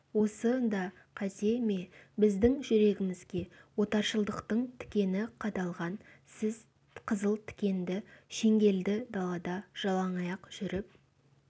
осы да қате ме біздің жүрегімізге отаршылдықтың тікені қадалған сіз қызыл тікенді шеңгелді далада жалаңаяқ жүріп